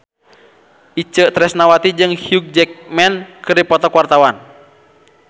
Itje Tresnawati jeung Hugh Jackman keur dipoto ku wartawan